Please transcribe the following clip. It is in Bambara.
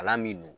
Kalan min dun